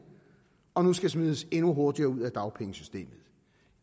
og nu skal smides endnu hurtigere ud af dagpengesystemet